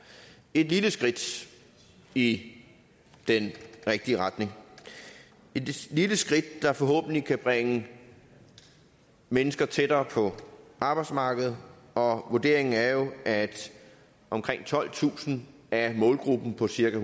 et lille skridt i den rigtige retning et lille skridt der forhåbentlig kan bringe mennesker tættere på arbejdsmarkedet og vurderingen er jo at omkring tolvtusind af målgruppen på cirka